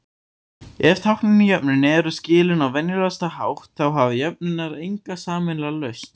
Ef táknin í jöfnunum eru skilin á venjulegasta hátt, þá hafa jöfnurnar enga sameiginlega lausn.